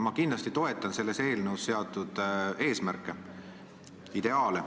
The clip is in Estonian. Ma kindlasti toetan selles eelnõus seatud eesmärke, ideaale.